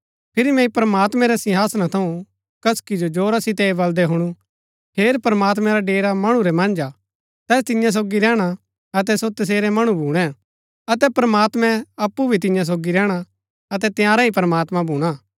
फिरी मैंई प्रमात्मैं रै सिंहासना थऊँ कसकि जो जोरा सितै ऐह बलदै हुणु हेर प्रमात्मैं रा डेरा मणु रै मन्ज हा तैस तिन्या सोगी रैहणा अतै सो तसेरै मणु भूणै अतै प्रमात्मैं अप्पु भी तियां सोगी रैहणा अतै तंयारा ही प्रमात्मां भूणा